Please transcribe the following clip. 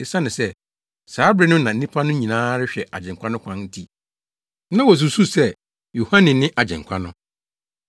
Esiane sɛ saa bere no na nnipa no nyinaa rehwɛ Agyenkwa no kwan nti, na wosusuw sɛ Yohane ne Agyenkwa no.